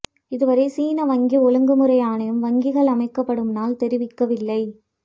இதுவரை சீன வங்கி ஒழுங்குமுறை ஆணையம் வங்கிகள் அமைக்கப்படும் நாள் தெரிவிக்கவில்லை